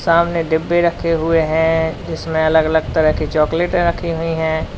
सामने डिब्बे रखे हुए हैं जिसमें अलग अलग तरह की चॉकलेट रखी हुई हैं।